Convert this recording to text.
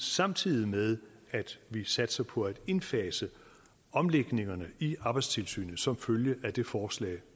samtidig med at vi satser på at indfase omlægningerne i arbejdstilsynet som følge af det forslag